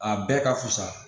A bɛɛ ka fusa